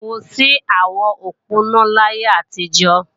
kò sí àwọn òponá láyé àtijó